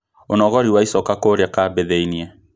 Ũnogori wa icoka kũrĩa kambĩ thĩinĩ